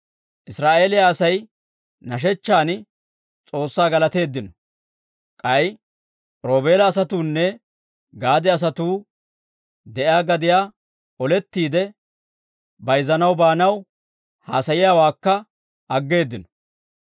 Israa'eeliyaa Asay nashechchan, S'oossaa galateeddino. K'ay Roobeela asatuunne Gaade asatuu de'iyaa gadiyaa olettiide bayzanaw baanaw haasayiyaawaakka aggeeddino.